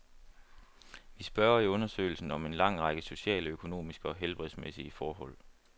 Vi spørger i undersøgelsen om en lang række sociale, økonomiske og helbredsmæssige forhold.